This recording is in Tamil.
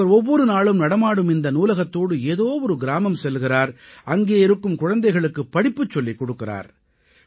இவர் ஒவ்வொரு நாளும் நடமாடும் இந்த நூலகத்தோடு ஏதோ ஒரு கிராமம் செல்கிறார் அங்கே இருக்கும் குழந்தைகளுக்குப் படிப்பு சொல்லிக் கொடுக்கிறார்